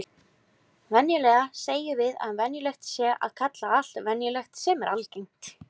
Venjulega segjum við að venjulegt sé að kalla allt venjulegt sem er algengt.